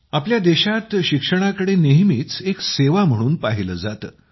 आपल्या देशात शिक्षणाकडे नेहमीच एक सेवा म्हणून पाहिले जाते